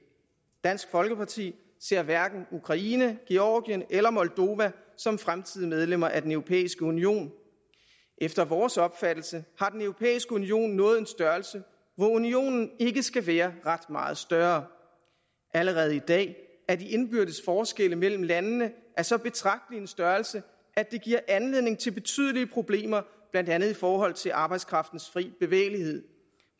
dansk folkeparti ser hverken ukraine georgien eller moldova som fremtidige medlemmer af den europæiske union efter vores opfattelse har den europæiske union nået en størrelse hvor unionen ikke skal være ret meget større allerede i dag er de indbyrdes forskelle mellem landene af så betragtelig en størrelse at det giver anledning til betydelige problemer blandt andet i forhold til arbejdskraftens fri bevægelighed